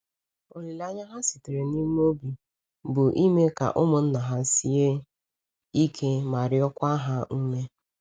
Olileanya ha sitere n’ime obi bụ ime ka ụmụnna ha sie ike ma rịọkwa ha ume.